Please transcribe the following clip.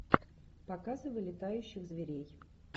показывай летающих зверей